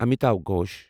Amitava Ghosh